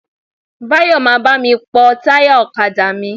Báyọ̀ máa bá mi pọ́ táyà ọ̀kadà mi.